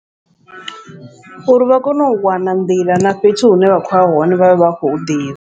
Uri vha kone u wana nḓila na fhethu hune vha khoya hone vhavhe vha kho hu ḓivha.